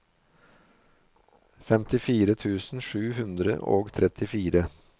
femtifire tusen sju hundre og trettitre